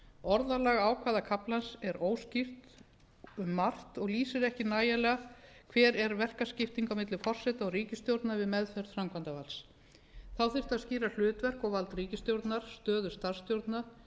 orðalag ákvæða kaflans er óskýrt um margt og lýsir ekki nægilega hver er verkaskipting á milli forseta og ríkisstjórnar við meðferð framkvæmdarvalds þá þyrfti að skýra hlutverk og vald ríkisstjórnar stöðu starfsstjórna